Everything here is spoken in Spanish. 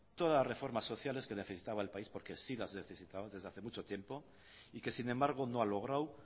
todas las reformas sociales que necesitaba el país porque sí las necesitaba desde hace mucho tiempo y que sin embargo no ha logrado